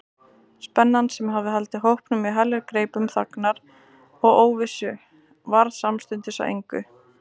Spennan, sem hafði haldið hópnum í heljargreipum þagnar og óvissu, varð samstundis að engu.